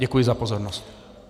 Děkuji za pozornost.